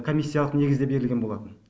комиссиялық негізде берілген болатын